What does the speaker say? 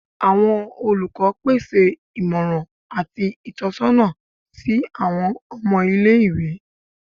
Awọn olukọ pese imọran ati itọsọna si awọn ọmọ ile-iwe